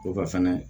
O ka fɛnɛ